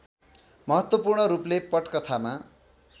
महत्त्वपूर्ण रूपले पटकथामा